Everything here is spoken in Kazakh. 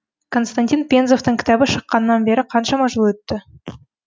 константин пензовтың кітабы шыққанан бері қаншама жыл өтті